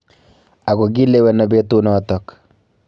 Akokileweno petunotok